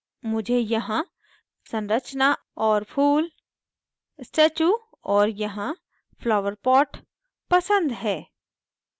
मुझे यहाँ संरचना और फूल statue और यहाँ flower pot पसंद है